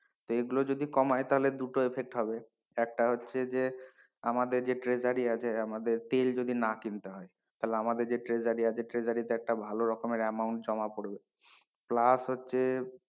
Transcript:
তো এগুলো যদি কমায় তাহলে দুটো effect হবে একটা হচ্ছে যে আমাদের যে ট্রেজারি আমাদের আছে তেল যদি না কিনতে হয় তাহলে আমাদের ট্রেজারি আছে ট্রেজারিতে একটা ভালো রকমের amount জমা পড়বে plus হচ্ছে,